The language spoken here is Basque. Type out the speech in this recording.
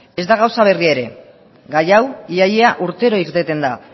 ez da gauza berria ere gai hau ia ia urtero irteten da